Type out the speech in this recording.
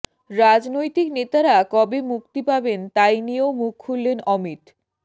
রাজনৈতিক নেতারা কবে মুক্তি পাবেন তাই নিয়েও মুখ খুললেন অমিত